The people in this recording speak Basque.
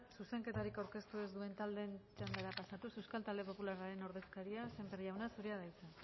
zuzenketarik aurkeztu ez duen taldeen txandara pasatuz euskal talde popularraren ordezkaria sémper jauna zurea da hitza